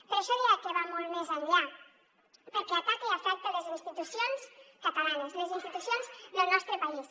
per això deia que va molt més enllà perquè ataca i afecta les institucions catalanes les institucions del nostre país